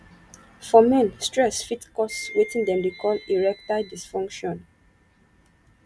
for men stress fit cause wetin dem dey call erectile dysfunction